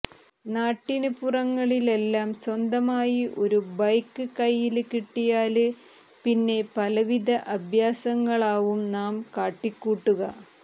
നാട്ടിന് പുറങ്ങളിലെല്ലാം സ്വന്തമായി ഒരു ബൈക്ക് കെയ്യില് കിട്ടിയാല് പിന്നെ പലവിധ അഭ്യാസങ്ങളാവും നാം കാട്ടിക്കൂട്ടുക